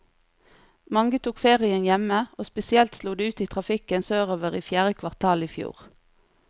Mange tok ferien hjemme, og spesielt slo det ut i trafikken sørover i fjerde kvartal i fjor.